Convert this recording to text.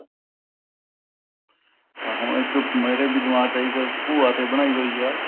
ਆ ਹੁਣ ਇੱਕ ਮੇਰੇ ਵੀ ਦਿਮਾਗ ਚ ਆਈ ਕਿ ਭੂਆ ਤੇ ਬਣਾਈ ਹੋਈ ਹੈ